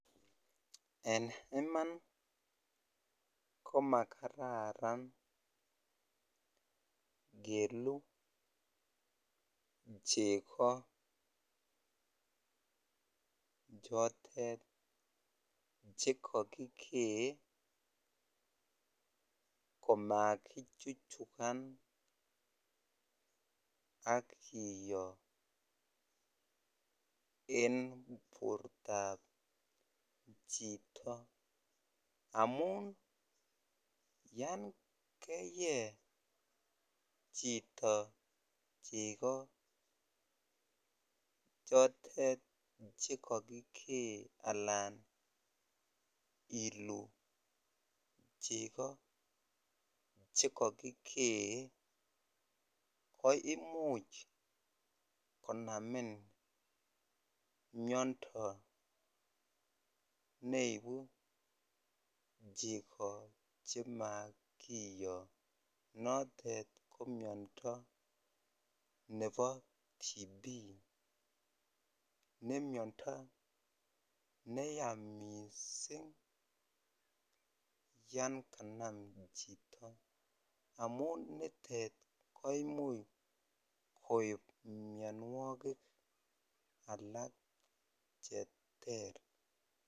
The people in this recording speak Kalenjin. En iman komakara keluu cheko chotet chekokikee komakichuchukan akiyoo en bortab chito amun yan keyee chito cheko chotet chekokikee alan iluu cheko chekokikee ko imuch konamin miando neibu cheko chemakiyoo notet ko miando ne bo TB,ne miando neya missing yan kanam chito amun nitet koimuch koip mianwogik alak cheter.